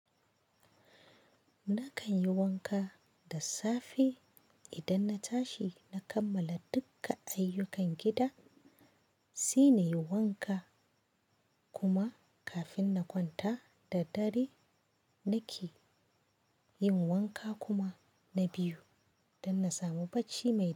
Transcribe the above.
Nakan yi wanka da safe idan na tashi na kammala dukka ayyukan gida, sai nayi wanka kuma kafin na kwanta da dare nake yin wanka kuma na biyu don na samu bacci mai kyau.